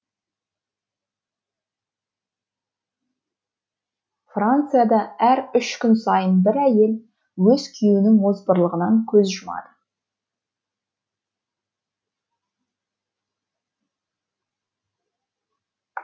францияда әр үш күн сайын бір әйел өз күйеуінің озбырлығынан көз жұмады